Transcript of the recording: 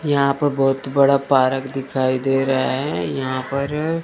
यहां प बहोत बड़ा पारक दिखाई दे रहे है यहां पर--